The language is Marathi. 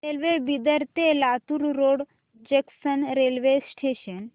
रेल्वे बिदर ते Latur road junction railway station